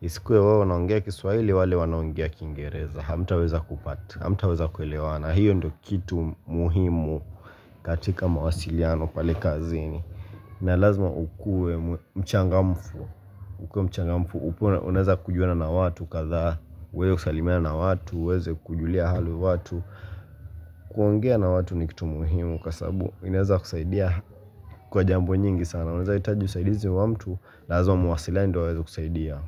Isikue wewe unaongea kiswaili wale wanaongea kingereza Hamtaweza kupata Hamtaweza kuelewana hiyo ndo kitu muhimu katika mawasiliano pale kazini na lazima ukue mchangamfu ukue mchangamfu ukue unezakujuana na watu kadha uweze kusalimiana na watu, uweze kujulia hali watu kuongea na watu ni kitu muhimu kwa sababu inezakusaidia kwa jambo nyingi sana Unezahitaji usaidizi wa mtu, lazima muwasiliane ndo aeze kusaidia.